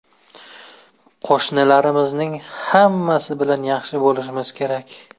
Qo‘shnilarimizning hammasi bilan yaxshi bo‘lishimiz kerak.